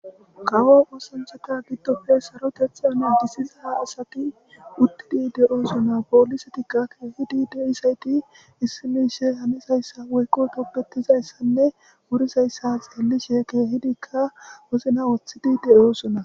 Kawo oosanceta giddopfe sarotetheane disiza asati uttidi de7oosona poolisetikka keehidi de7isayti issimiishe hanizayssa woykqo qopbetizayssanne wurizayssa xeelishe keehidikka wozna woththidi de7oosona.